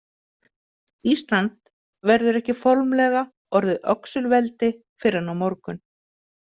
Ísland verður ekki formlega orðið öxulveldi fyrr en á morgun.